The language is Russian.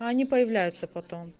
а они появляются потом